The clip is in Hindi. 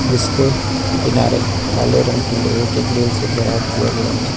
जिसके किनारे काले रंग के लोहे के ग्रिल से घेराव किया गया है।